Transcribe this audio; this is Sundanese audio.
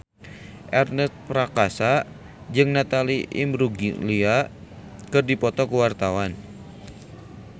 Ernest Prakasa jeung Natalie Imbruglia keur dipoto ku wartawan